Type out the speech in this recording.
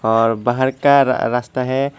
और बाहर का रा रास्ता है।